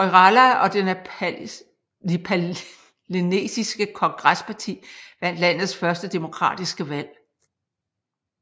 Koirala og det nepalesiske kongresparti vandt landets første demokratiske valg